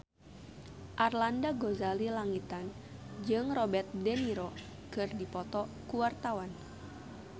Arlanda Ghazali Langitan jeung Robert de Niro keur dipoto ku wartawan